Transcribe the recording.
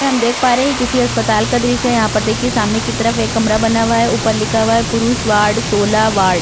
में हम देख पा रहे हैं किसी अस्पताल का दृश्य है। यहाँ पर देखिए सामने की तरफ एक कमरा बना वा है ऊपर लिखा वा है पुरुष वार्ड सोलह वार्ड ।